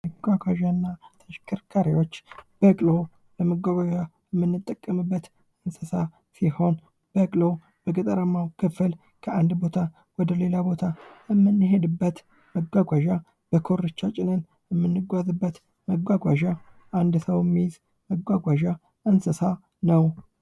መጓጓዣ እና ተሽከርካሪዎች በቅሎ:-ለመጓጓዣነት ምንጠቀምበት እንስሳ ሲሆን በቅሎ በገጠራማዉ ክፍል ከአንድ ቦታ ወደ ሌላ ቦታ የምንሄድበት መጓጓዣ በኮርቻ ጭነን መጓጓዣ አንድ ሰዉ የሚይዝ መጓጓዣ ነዉ።